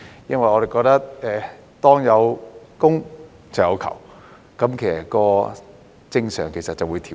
因為我們認為當有供，就有求，正常就會出現調節。